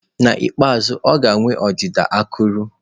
N'ikpeazụ, ọ ga-enwe ọdịda akụrụ.